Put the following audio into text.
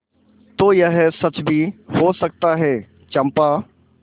तो यह सच भी हो सकता है चंपा